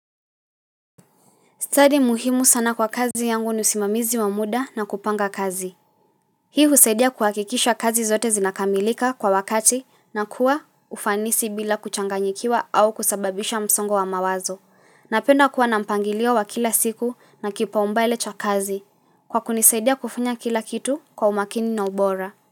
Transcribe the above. Stadi muhimu sana kwa kazi yangu ni usimamizi wa muda na kupanga kazi. Hii husaidia kuhakikisha kazi zote zinakamilika kwa wakati na kuwa ufanisi bila kuchanganyikiwa au kusababisha msongo wa mawazo. Napenda kuwa nampangiliwa wa kila siku na kipaumbale cha kazi. Kwa kunisaidia kufanya kila kitu kwa umakini na ubora.